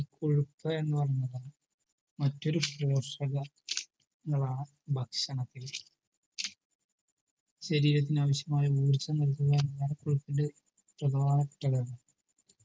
ഈ കൊഴുപ്പ് എന്ന് പറഞ്ഞത് മറ്റൊരു ഭക്ഷണത്തിൽ ശരീരത്തിന് ആവിശ്യമായ ഊർജം നൽകുന്നത്